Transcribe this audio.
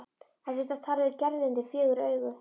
Hann þurfti að tala við Gerði undir fjögur augu.